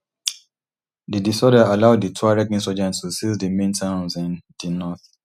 di disorder allow di tuareg insurgents to seize di main towns in di north